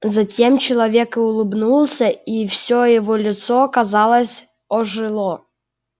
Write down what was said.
затем человек улыбнулся и всё его лицо казалось ожило